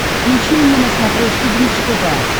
включи мне на смотрешке бридж тв